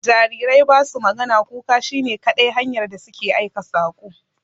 Jarirai ba su magana, kuka shi ne kadai hanyar da su ke aika saƙo.